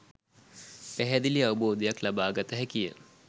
පැහැදිලි අවබෝධයක් ලබාගත හැකිය.